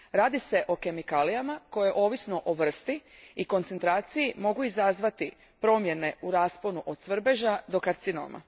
Radi se o kemikalijama, koje ovisno o vrsti i koncentraciji, mogu izazvati promjene u rasponu od svrbeža do karcinoma.